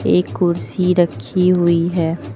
एक कुर्सी रखी हुई है।